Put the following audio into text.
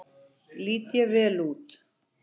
Lít ég vel út?